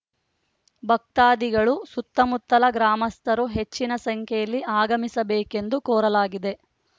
ಭಕ್ತಾದಿಗಳು ಸುತ್ತಮುತ್ತಲ ಗ್ರಾಮಸ್ಥರು ಹೆಚ್ಚಿನ ಸಂಖ್ಯೆಯಲ್ಲಿ ಆಗಮಿಸಬೇಕೆಂದು ಕೋರಲಾಗಿದೆ